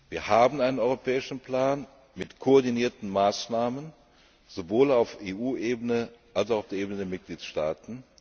ist. Wir haben einen europäischen Plan mit koordinierten Maßnahmen sowohl auf EU Ebene als auch auf Ebene der Mitgliedstaaten.